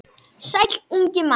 Sæll, ungi maður